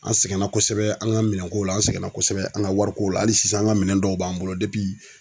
An sɛgɛnna kosɛbɛ an ka minɛnko la an sɛgɛnna kosɛbɛ an ka wariko la hali sisan an ka minɛn dɔw b'an bolo